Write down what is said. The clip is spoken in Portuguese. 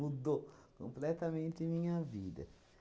completamente minha vida.